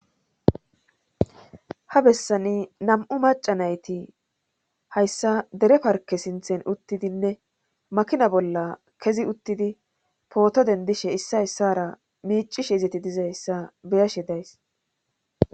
Ha bessani nam7u maca nayti hayssa dere parke sinthen uttidinne makina bolla kezi uttidi pooto dendishe issa essara miicishe izeti dizayssa beyashe days.